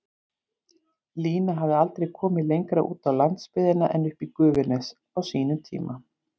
Lína hafði aldrei komið lengra út á landsbyggðina en uppí Gufunes, á sínum tíma.